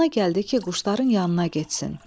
Ağlına gəldi ki, quşların yanına getsin.